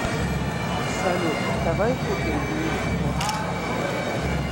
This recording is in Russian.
салют давай купим мне порш